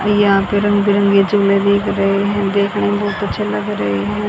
यहां पे रंग बिरंगी चुनरी दिख रहे हैं देखने मे बहुत अच्छे लग रहे हैं।